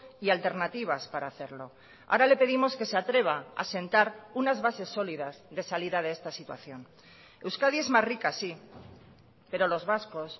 y alternativas para hacerlo ahora le pedimos que se atreva a asentar unas bases sólidas de salida de esta situación euskadi es más rica sí pero los vascos